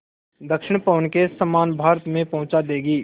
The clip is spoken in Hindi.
दक्षिण पवन के समान भारत में पहुँचा देंगी